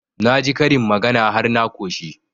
Na ji karin magana har na ƙoshi